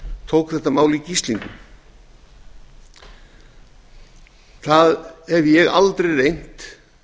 tók þetta mál í gíslingu það hef ég aldrei reynt